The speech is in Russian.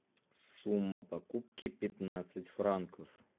сумма покупки пятнадцать франков